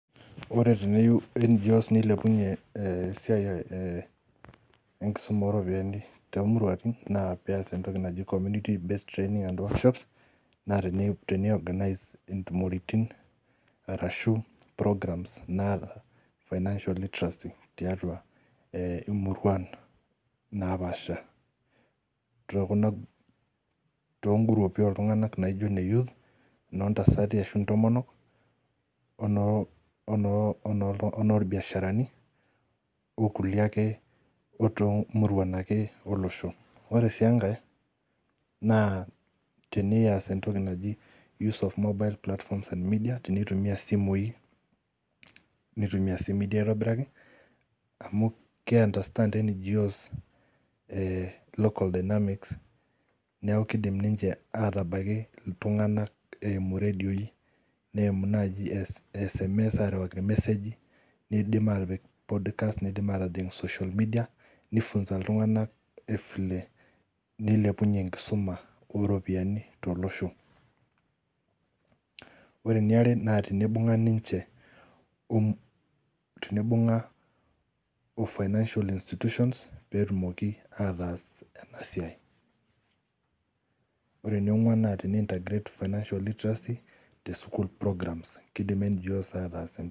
Ore teneyou NGO's neilepunye esidai ee nkisuma oo ropiani too muruatin naa pees entoki naji community based training and workshops naa tene organise intumoritin arashu programs naata financial literacy tiatua imuruan naapasha too gurupi oo oltung'ana naijo nee youths noo ntasati Ashu ntomonok onoo onoo irbiasharani oo nkulie ake murai olosho. Ore sii enkar tenayas entoki naji use of modern platforms and media tenitumia isimui nitumie sii media aitobiraki amuu kee understand NGO's local dinamics neeku kidim niche atabaki oltung'ana eimu redion neimu naji or message airiwaki message medium atip podcast pidim atodol tee social media nei funza iltung'ana vile neilepunye enkisuma oo ropiani to losho. Ore Ene are naa tenibunga'a niche tenibunga'a oo financial iinstitutions petumoki atas ena siai. Ore eni ong'uan naa tene integrate financial literacy tee school programs keidim NGO's atas.